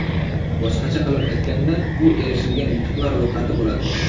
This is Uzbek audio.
Boshqacha qilib aytganda, bu erishilgan yutuqlar ro‘yxati bo‘ladi.